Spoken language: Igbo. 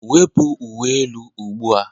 Wepu uwe elu ugbu a.